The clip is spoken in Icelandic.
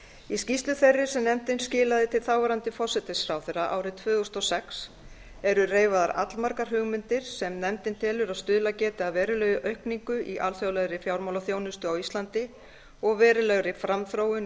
í skýrslu þeirri sem nefndin skilaði til þáverandi forsætisráðherra árið tvö þúsund og sex eru reifaðar allmargar hugmyndir sem nefndin telur að stuðlað geti að verulegri aukningu í alþjóðlegri fjármálaþjónustu á íslandi og verulegri framþróun í